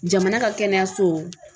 Jamana ka kɛnɛyaso